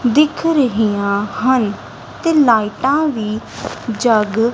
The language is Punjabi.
ਦਿੱਖ ਰਹੀਆਂ ਹਨ ਤੇ ਲਾਈਟਾਂ ਵੀ ਜੱਗ--